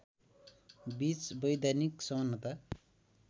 बीच वैधानिक समानता